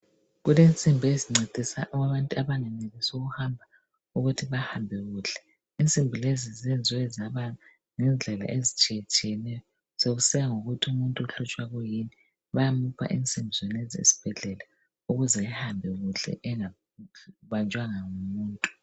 Kulensimbi ezincedisa abangenelisi ukuhamba ukuthi bahambe kuhle. Insimbi lezi zenziwe zaba yindlela ezitshiyeneyo sokusiya ngokuthi umuntu uhlutshwa yikuyini. Bayamupha insimbi zonezi esibhedlela ukuze ahambe kuhle engabanjwanga ngumuntu.